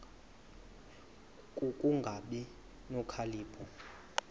ku kungabi nokhalipho